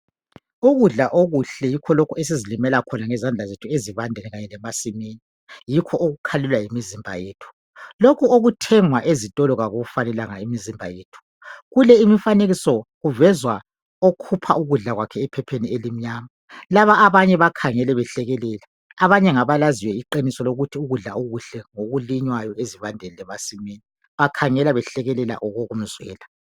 Ukudla okuhle yikho lokhu esizilimela khona ngesandla zethu ezivandeni kanye lemasinini yikho okukhalelwa yimizimba yethu . Lokhu okuthengws ezitolo kakuyifanelanga imizimba yethu. Kule imifanekiso kuvezwa okhupha ukudla kwakhe ephepheni elimnyama laba abanye bakhangele behlekelela abanye ngabalaziyo iqiniso lokuthi ukudla okuhle ngokulinywayo ezivandeni lasemasimini bakhangele behlekelela okokumzwela.